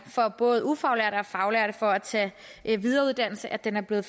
for både ufaglærte og faglærte for at tage videreuddannelse at den er blevet